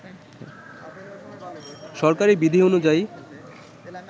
সরকারি বিধি অনুযায়ী